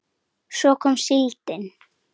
Svo kom síldin.